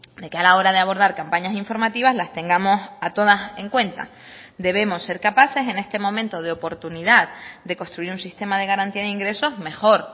de que a la hora de abordar campañas informativas las tengamos a todas en cuenta debemos ser capaces en este momento de oportunidad de construir un sistema de garantía de ingresos mejor